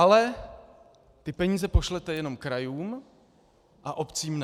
Ale ty peníze pošlete jenom krajům a obcím ne.